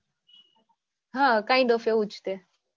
હા kind of એવુ જ તે.